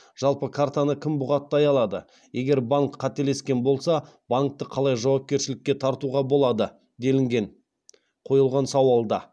жалпы картаны кім бұғаттай алады егер банк қателескен болса банкті қалай жауапкершілікке тартуға болады делінген қойылған сауалда